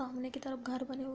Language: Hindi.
सामने की तरफ घर बने हुए --